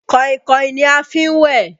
Kàìnkàìn ni a fi n wẹ́